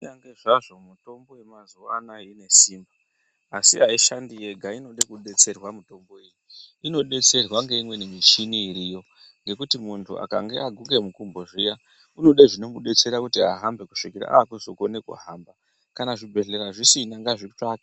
Kunyangwe zvazvo mitombo yemazuwa ano inesimba asi aishandi yega. Inoda kudetserwa mitombo iyi. Inodetserwa ngeimweni michini iriyo ngekuti munhu akange aguka murenje zviya unoda zvinomudetsera kuti ahambe kusvikira aakukona kuhamba ega. Kana zvibhedhlera zvisina ngazvitsvake.